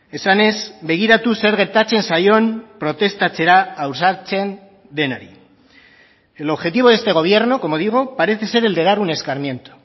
esanez begiratu zer gertatzen zaion protestatzera ausartzen denari el objetivo de este gobierno como digo parece ser el de dar un escarmiento